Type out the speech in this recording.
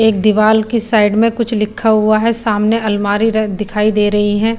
एक दिवाल की साइड में कुछ लिखा हुआ है सामने अलमारी र दिखाई दे रही है।